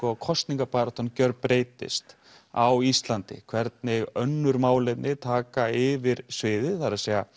kosningabaráttan gjörbreytist á Íslandi hvernig önnur málefni taka yfir sviðið það er